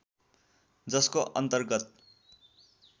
जसको अन्तर्गत